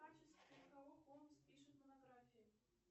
в качестве кого холмс пишет монографии